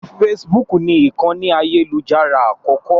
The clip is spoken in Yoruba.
Facebook ni ìkànì ayélujára àkọ́kọ́.